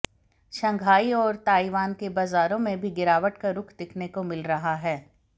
Shanghai और Taiwan के बाजारों में भी गिरावट का रुख देखने को मिल रहा है